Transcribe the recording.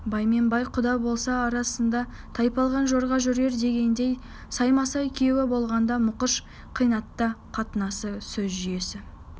бай мен бай құда болса арасында тайпалған жорға жүрер дегендей саймасай күйеу болғанда мұқыш қайыната қатынасы сөз жүйесі